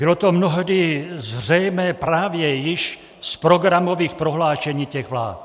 Bylo to mnohdy zřejmé právě již z programových prohlášení těch vlád.